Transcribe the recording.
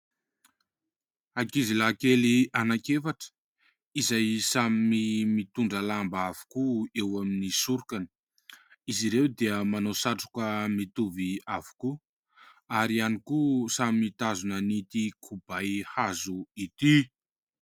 Ankizy lahy kely anaky efatra, izay samy mitondra lamba avokoa eo amin'ny sorokany. Izy ireo dia manao satroka mitovy avokoa, ary ihany koa samy mitazona ity kibay hazo ity.